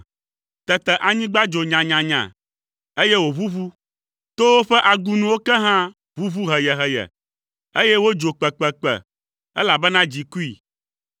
Tete anyigba dzo nyanyanya, eye wòʋuʋu; towo ƒe agunuwo ke hã ʋuʋu heyeheye, eye wodzo kpekpekpe, elabena dzi kui.